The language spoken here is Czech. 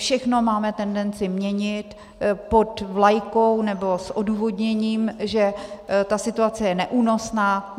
Všechno máme tendenci měnit pod vlajkou nebo s odůvodněním, že ta situace je neúnosná.